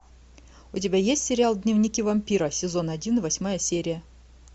у тебя есть сериал дневники вампира сезон один восьмая серия